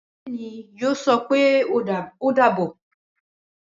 Bẹẹni mo yọ sope ọ dàbọ̀